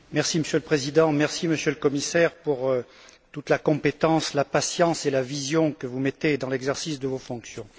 Monsieur le Président, Monsieur le Commissaire, merci pour toute la compétence, la patience et la vision que vous mettez dans l'exercice de vos fonctions.